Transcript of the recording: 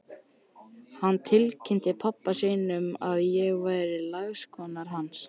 Hann tilkynnti pabba sínum að ég væri lagskona hans!